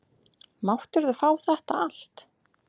Máttirðu fá þetta allt?